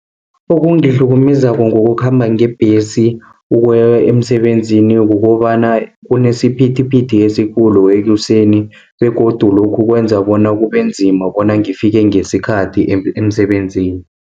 Okungihlukumezako ngokukhamba ngebhesi, ukuya emsebenzini kukobana kunesiphithiphithi esikhulu ekuseni, begodu lokhu kwenza bona kubenzima bona ngifike ngesikhathi emsebenzini.